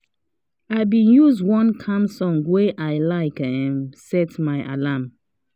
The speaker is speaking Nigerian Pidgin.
i been use one calm song wey i like um set my alarm